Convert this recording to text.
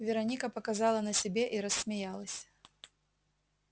вероника показала на себе и рассмеялась